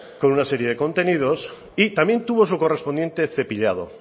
con una serie de contenidos y también tuvo su correspondiente cepillado